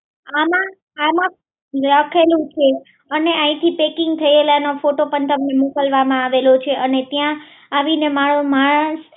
અને આયાથી પેકિંગ થયેલા ના ફોટા પણ તમને મોકલવામાં આવેલો છે અને ત્યાં આવીને મારો માણસ